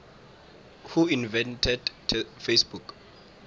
who invented facebook